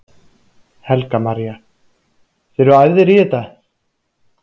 Helga María: Þið eruð æfðir í þetta?